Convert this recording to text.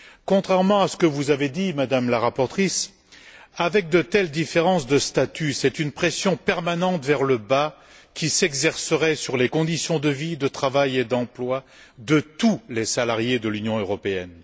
Contrairement à ce que vous avez dit, Madame la rapporteure, avec de telles différences de statut, c'est une pression permanente vers le bas qui s'exercerait sur les conditions de vie, de travail et d'emploi de tous les salariés de l'Union européenne.